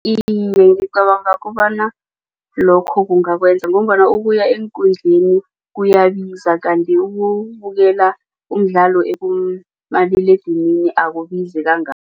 Iye, ngicabanga kobana lokho kungakwenza ngombana ukuya eenkundleni kuyabiza kanti ukubukela umdlalo kumaliledinini akubizi